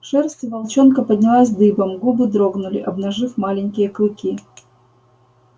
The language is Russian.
шерсть у волчонка поднялась дыбом губы дрогнули обнажив маленькие клыки